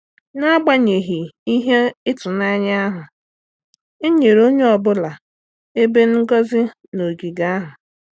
N'agbanyeghị ihe ituanya ahụ, e nyere onye ọ bụla ebe ngozi na ogige ahụ.